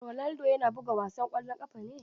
Ronaldo na buga wasan ƙwallon ƙafa ne.